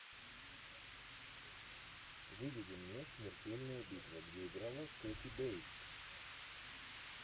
выведи мне смертельная битва где играла кэти бейтс